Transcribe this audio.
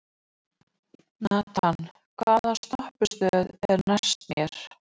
Nathan, hvaða stoppistöð er næst mér?